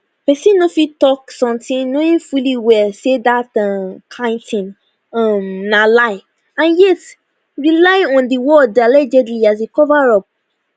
pesin no fit tok somtin knowing fully well say dat um kain tin um na lie and yet rely on di word allegedly as a cover up